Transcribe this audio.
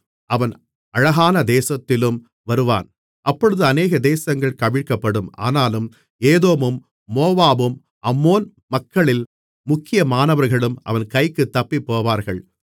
அவன் அழகான தேசத்திலும் வருவான் அப்பொழுது அநேக தேசங்கள் கவிழ்க்கப்படும் ஆனாலும் ஏதோமும் மோவாபும் அம்மோன் மக்களில் முக்கியமானவர்களும் அவன் கைக்குத் தப்பிப்போவார்கள்